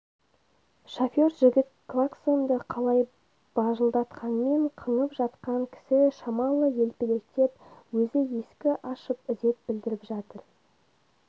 шофер жігіт клаксонды қалай бажылдатқанмен қыңып жатқан кісі шамалы елпелектеп өзі ескі ашып ізет білдіріп жатыр